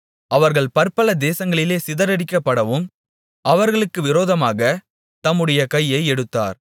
அவர்கள் பற்பல தேசங்களிலே சிதறடிக்கப்படவும் அவர்களுக்கு விரோதமாகத் தம்முடைய கையை எடுத்தார்